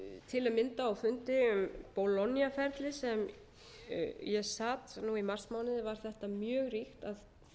til að mynda á fundi um bologna ferlið sem ég sat nú í marsmánuði var þetta mjög ríkt að það yrði að